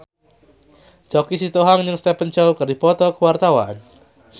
Choky Sitohang jeung Stephen Chow keur dipoto ku wartawan